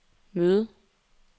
møde